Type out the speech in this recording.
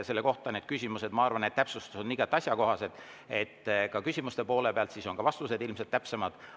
Selle kohta need küsimused, ma arvan, ja täpsustused on igati asjakohased – ka küsimuste poole pealt, sest siis on ka vastused ilmselt täpsemad.